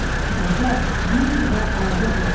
Qoca, bil və agah ol.